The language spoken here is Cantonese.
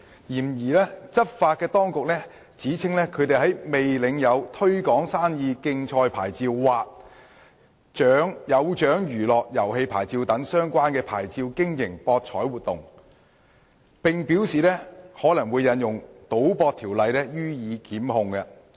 然而，執法當局指稱他們在未領有"推廣生意的競賽牌照"或"有獎娛樂遊戲牌照"等相關牌照下經營博彩活動，並表示可能會引用《賭博條例》予以檢控。